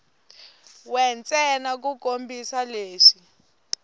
we ntsena ku kombisa leswi